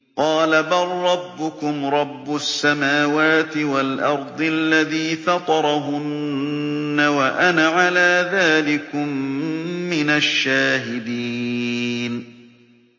قَالَ بَل رَّبُّكُمْ رَبُّ السَّمَاوَاتِ وَالْأَرْضِ الَّذِي فَطَرَهُنَّ وَأَنَا عَلَىٰ ذَٰلِكُم مِّنَ الشَّاهِدِينَ